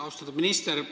Austatud minister!